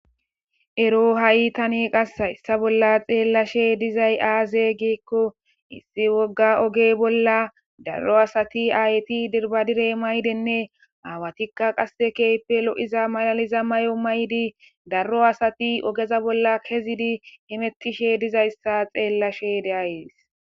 Ero tani hayssa bolla xeelishe diizay aaze giiko ogge bolla daaro asati ayyeti dirbadiire mayidinne awatika kehi loiza maayo mayidi daaro asay oggeza bolla kezi eqqidi hemetishe diizayssa xelashe de'aysi.